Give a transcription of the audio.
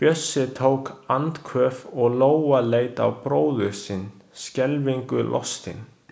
Bjössi tók andköf og Lóa leit á bróður sinn, skelfingu lostin.